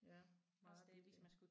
Ja meget billigere